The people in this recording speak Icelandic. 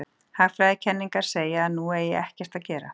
Hagfræðikenningarnar segja að nú eigi ekkert að gera.